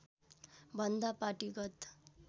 भन्दा पार्टीगत